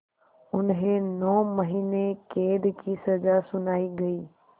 उन्हें नौ महीने क़ैद की सज़ा सुनाई गई